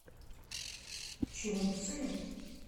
чунцин